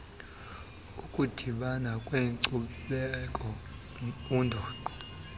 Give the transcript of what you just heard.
ukudibana kweenkcubeko undoqo